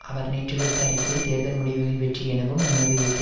அவர் நேற்று விடுத்த அறிக்கையில் தேர்தல் முடிவுகள் வெற்றி எனவும் எமது யுத்த